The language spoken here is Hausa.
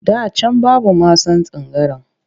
Da can babu masan tangaran